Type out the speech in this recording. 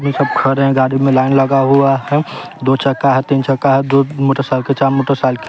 सब खड़े हैं गाड़ी में लाइन लगा हुआ है दो चक्का है तीन चक्का है दो मोटरसाइकिल चार मोटरसाइकि--